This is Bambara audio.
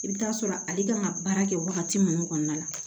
I bɛ t'a sɔrɔ ale kan ka baara kɛ wagati minnu kɔnɔna la